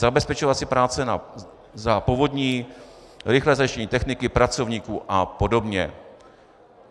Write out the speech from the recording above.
Zabezpečovací práce za povodní, rychlé zajištění techniky, pracovníků a podobně.